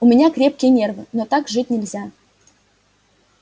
у меня крепкие нервы но так жить нельзя